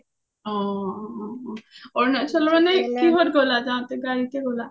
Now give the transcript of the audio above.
অ অ অ কিহত গলা ? গাৰিতে গ’লা?